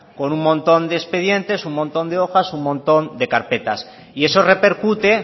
con un montón de expedientes un montón de hojas un montón de carpetas y eso repercute